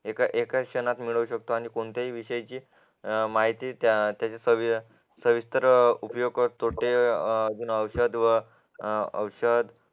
एका एका क्षणात मिळवू शकतो आणि कोणत्याही विषयाची माहिती त्या त्याचे सविस्तर उपयोग तोटे औषध व औषध